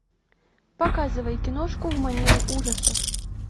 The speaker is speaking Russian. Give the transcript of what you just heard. показывай киношку в манере ужасов